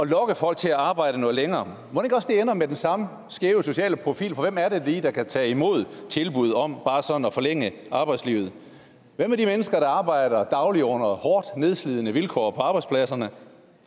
lokke folk til at arbejde noget længere mon ikke også det ender med den samme skæve sociale profil for hvem er det lige der kan tage imod tilbuddet om bare sådan at forlænge arbejdslivet og hvem er de mennesker der arbejder dagligt under hårdt nedslidende vilkår på arbejdspladserne